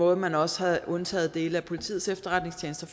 og at man også havde undtaget dele af politiets efterretningstjeneste